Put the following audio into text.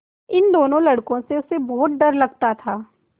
इन दोनों लड़कों से उसे बहुत डर लगता था